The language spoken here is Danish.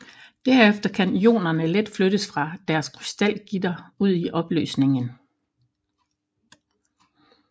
Derefter kan ionerne let flyttes fra deres krystalgitter ud i opløsningen